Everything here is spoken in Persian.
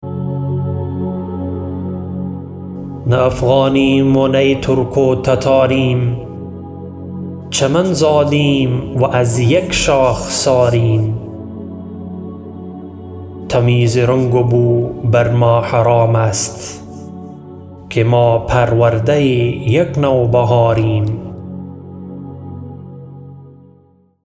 نه افغانیم و نی ترک و تتاریم چمن زادیم و از یک شاخساریم تمیز رنگ و بو بر ما حرام است که ما پرورده یک نو بهاریم